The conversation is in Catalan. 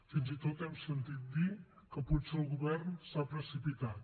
fins i tot hem sentit dir que potser el govern s’ha precipitat